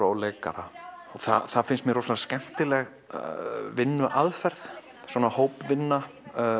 og leikara það finnst mér rosalega skemmtileg vinnuaðferð svona hópvinna